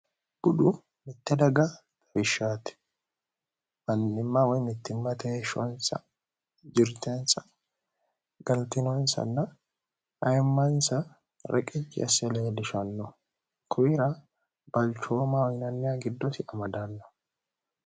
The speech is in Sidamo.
gudu mitte daga tawishshaati mannimmawoymittimmateheeshshoonsa jirteensa galtinoonsanna ayimmaansa reqici asseleelishallo kuwira balchooma yinaaniya giddosi amadaanno